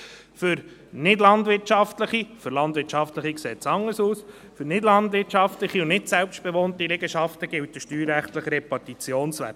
Er sagt, dass für nichtlandwirtschaftliche – für landwirtschaftliche sieht es anders aus – und nicht selbstbewohnte Liegenschaften der steuerrechtliche Repartitionswert gilt.